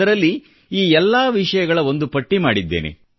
ಅದರಲ್ಲಿ ಈ ಎಲ್ಲಾ ವಿಷಯಗಳ ಒಂದು ಪಟ್ಟಿ ಮಾಡಿದ್ದೇನೆ